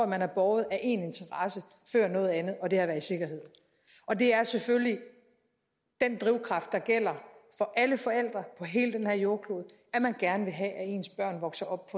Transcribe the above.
man er båret af én interesse før noget andet og det er at være i sikkerhed og det er selvfølgelig den drivkraft der gælder for alle forældre på hele den her jordklode at man gerne vil have at ens børn vokser op